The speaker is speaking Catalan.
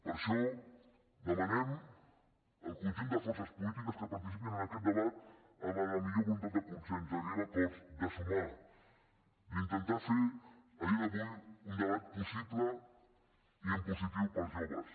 per això demanem el conjunt de forces polítiques que participin en aquest debat amb la millor voluntat de consens d’arribar a acords de sumar d’intentar fer a dia d’avui un debat possible i en positiu per als joves